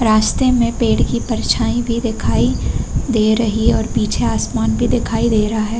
रास्ते में पेड़ की परछाई भी दिखाई दे रही और पीछे आसमान भी दिखाई दे रहा है।